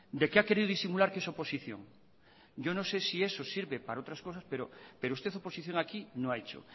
de que ha querido disimular que es oposición yo no sé si eso sirve para otras cosas pero usted oposición aquí no ha hecho